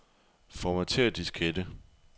Formatér diskette.